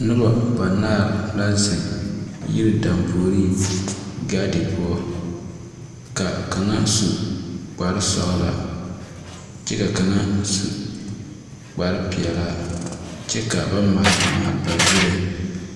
Nuba banaare la zeng yiri danpoure gaaden pou ka kanga su kpare sɔglaa kye ka kanga su kpare peɛlaa kye ka ba maale maale ba zuree.